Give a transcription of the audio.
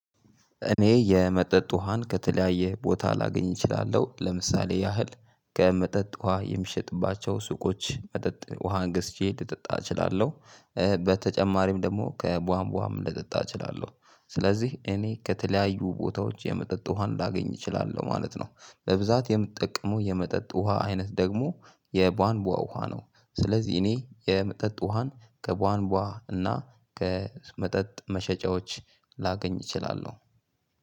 እኔ የመጠጥ ውሃን ከተለያየ ቦታ ላገኝ እችላለሁ ለምሳሌ ያህል ከመጠጥ ውሃ የሚሸጥባቸው ሱቆች መጠጥ ውሃን ገዝቼ ልጠጣ እችላለሁ። በተጨማሪም ደግሞ ከቧንቧም ልጠጣ እችላለሁ። ስለዚህ እኔ ከተለያዩ ቦታዎች የመጠጥ ውሃን ላገኝ እችላለሁ ማለት ነው። በብዛት የምጠቀመው የመጠጥ ውሃ አይነት ደግሞ የቧንቧ ውሃ ነው። ስለዚህ እኔ የመጠጥ ውሃን ከቧንቧ እና ከመጠጥ መሸጫዎች ላገኝ እችላለሁ።